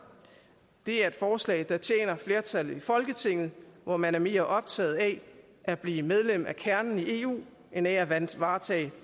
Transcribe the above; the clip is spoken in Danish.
det er et forslag der tjener flertallet i folketinget hvor man er mere optaget af at blive medlem af kernen i eu end af at varetage